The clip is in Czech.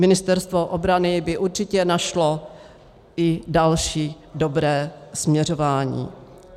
Ministerstvo obrany by určitě našlo i další dobré směřování.